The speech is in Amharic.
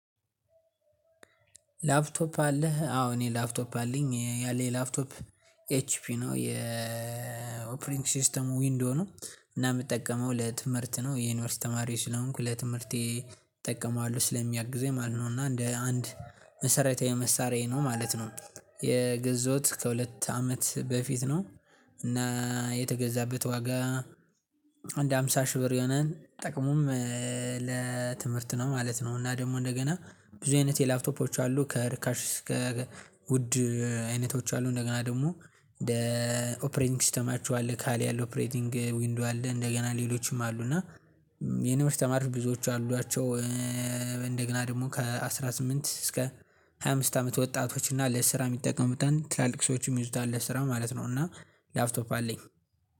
ላፕቶፕ አለህ አዎ እኔ ላፕቶፕ አለኝ ያለኝ ላፕቶፕ ኤችፒ ነው የኦፕሪንግ ሲስተሙ ዊንዶ ነው። እና የምጠቀመው ለትምህርት ነው የዩኒቨርሲቲ ተማሪ ስለሆንኩ ለትምህርቴ እጠቀማለሁ ስለሚያግዘኝ ማለት ነው እና እንደ አንድ መሰረታዊ መሳሪያዬ ነው ማለት ነው። የገዛውት ከሁለት አመት በፊት ነው። እና የተገዛበት ዋጋ አንድ ሃምሳ ሺህ ብር የሆናል ጥቅሙም ለትምህርት ነው ማለት ነው። እና ደግሞ እንደገና ብዙ አይነት የላፕቶፖች አሉ ከርካሽ አሰከ ውድ አይነቶች አሉ። እንደገና ደግሞ እንደ ኦፕሬንግ ሲስተማቸው አለ ካሌ ያለው ኦፕሬቲንግ ዊንዶ አለ እንደገና ሌሎችም አሉ እና የዩንቨርስቲ ተማሪዎች ብዙዎቹ አሏቸው። እንደገና ደግሞ ከአሥራ ስምንት እስከ ሃያ አምስት አመት ወጣቶች እና ለስራ የሚጠቀሙት ትላልቅ ሰዎች የሚይዙት አለ ስራ ማለት ነው። እና ላፍቶፕ አለኝ።